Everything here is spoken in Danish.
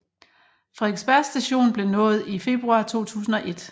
Frederiksberg Station blev nået i februar 2001